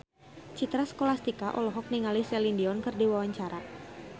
Citra Scholastika olohok ningali Celine Dion keur diwawancara